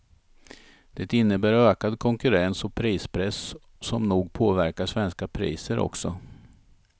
Det innebär ökad konkurrens och prispress som nog påverkar svenska priser också.